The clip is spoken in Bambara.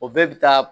O bɛɛ bi taa